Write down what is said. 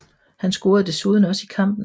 Han scorede desuden også i kampen